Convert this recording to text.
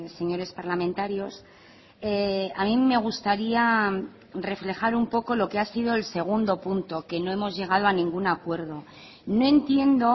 señores parlamentarios a mí me gustaría reflejar un poco lo que ha sido el segundo punto que no hemos llegado a ningún acuerdo no entiendo